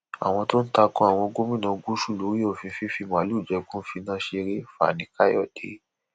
àwọn tó ń ta ko àwọn gómìnà gúúsù lórí òfin fífi màálùú jẹko ń finá ṣeré fanikàyọdé